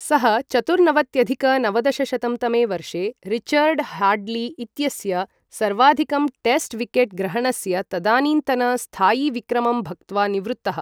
सः चतुर्नवत्यधिक नवदशशतं तमे वर्षे रिचर्ड ह्याड्ली इत्यस्य सर्वाधिकं टेस्ट् विकेट् ग्रहणस्य तदानीन्तन स्थायिविक्रमं भक्त्वा निवृत्तः।